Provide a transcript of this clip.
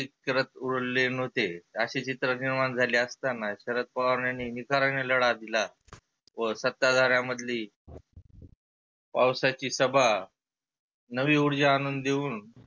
शरद उरले नव्हते. आसे चित्र निर्माण झाले असताना शरद पवार यांनी निकराने लढा दिला. व सत्ता धार्यामधली पावसाची सभा नवी उर्जा आणुन देऊन